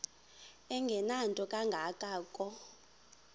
engenanto kanga ko